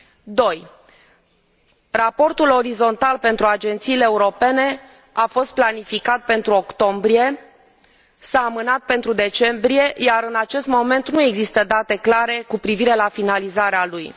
Doi raportul orizontal pentru agențiile europene a fost planificat pentru octombrie, s a amânat pentru decembrie, iar în acest moment nu există date clare cu privire la finalizarea lui.